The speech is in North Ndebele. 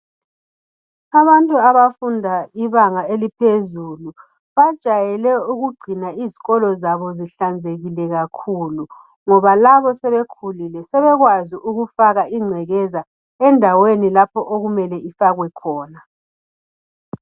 Abantu abafunda ibanga eliphezulu bajayele ukugcina izikolo zabo zihlanzekile kakhulu ngoba labo sebekhulile sebekwazi ukufaka ingcekeza endaweni lapho okumele ifakwe khona.